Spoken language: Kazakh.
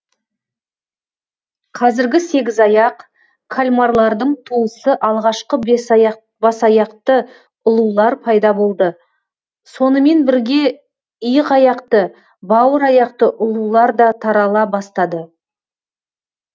қазіргі сегізаяқ кальмарлардың туысы алғашқы басаяқты ұлулар пайда болды сонымен бірге иықаяқты бауыраяқты ұлулар да тарала бастады